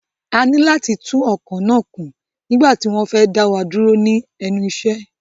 A ní láti tún ọkọ̀ náà kún nígbà tí wọ́n fẹ́ dá wa dúró ní ẹnu iṣẹ́.